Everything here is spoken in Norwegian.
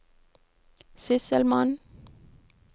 sysselmann